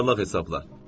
Yuvarlaq hesabla.